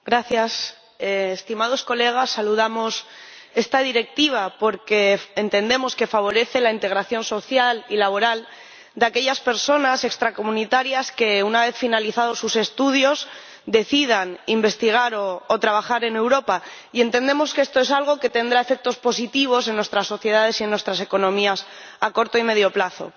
Señor Presidente, estimados colegas, saludamos esta Directiva porque entendemos que favorece la integración social y laboral de aquellas personas extracomunitarias que, una vez finalizados sus estudios, deciden investigar o trabajar en Europa, y entendemos que esto es algo que tendrá efectos positivos en nuestras sociedades y en nuestras economías a corto y medio plazo.